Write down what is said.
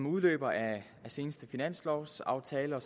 udløber af seneste finanslovaftale og